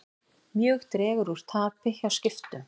Mjög dregur úr tapi hjá Skiptum